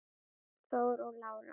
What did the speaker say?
Þór og Lára.